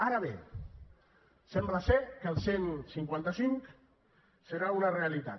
ara bé sembla ser que el cent i cinquanta cinc serà una realitat